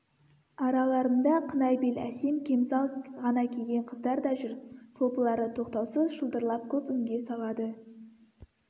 араларында қынай бел әсем кемзал ғана киген қыздар да жүр шолпылары тоқтаусыз шылдырлап көп үнге салады